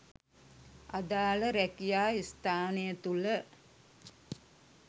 අදාළ රැකියා ස්‌ථානය තුළ